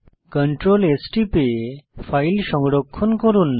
Ctrl S টিপে file সংরক্ষণ করুন